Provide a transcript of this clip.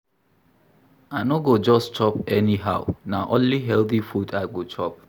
I no go just chop anyhow na only healthy food I go chop.